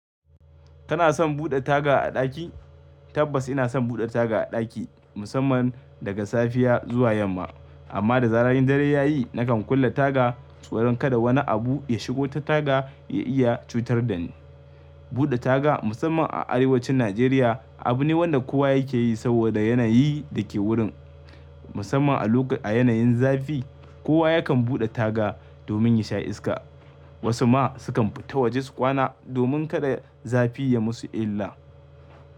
Tana son buɗe taga a ɗaki? Tabbas ina son buɗe taga a ɗaki, musamman daga safiya zuwa yamma. Amma da zarar yin dare yayi, nakan kulle taga tsoron kada wani abu ya shigo ta taga ya iya cutar da ni. Buɗe taga musamman a arewacin Najeriya abu ne wanda kowa yake yi saboda yanayi da ke wurin. Musamman a lok-- a yanayin zafi, kowa yakan buɗe taga domin ya sha iska. Wasu ma sukan fita waje su kwana domin kada zafi ya musu illa.